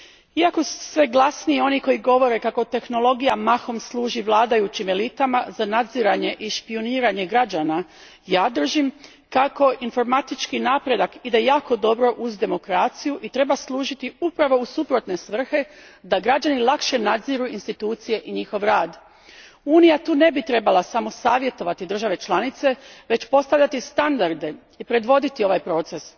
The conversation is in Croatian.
Iako su sve glasniji oni koji govore kako tehnologija mahom služi vladajućim elitama za nadziranje i špijuniranje građana, držim kako informatički napredak ide jako dobro uz demokraciju i treba služiti upravo u suprotne svrhe da građani lakše nadziru institucije i njihov rad. Unija tu ne bi trebala samo savjetovati države članice, već postavljati standarde i predvoditi ovaj proces.